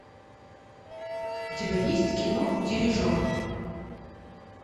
у тебя есть кино дирижер